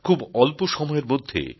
খুব অল্প সময়ের মধ্যে